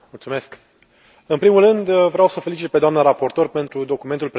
În primul rând, vreau să o felicit pe doamna raportor pentru documentul prezentat astăzi.